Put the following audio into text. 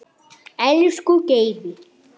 Elsku Geiri.